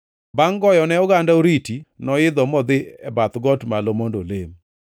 Bangʼ goyone oganda oriti, noidho modhi e bath got malo mondo olem.